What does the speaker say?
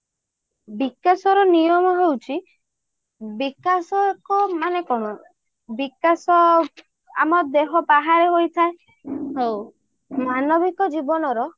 ବିକାଶର ନିୟମ ହଉଛି ବିକାଶ ଏକ ମାନେ କଣ ବିକାଶ ଆମ ଦେହ ବାହାରେ ହୋଇ ଥାଏ ମାନବିକ ଜୀବନର